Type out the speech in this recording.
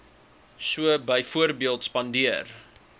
so byvoorbeeld spandeer